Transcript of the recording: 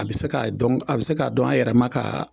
A be se k'a dɔn a be se dɔn a yɛrɛma kaa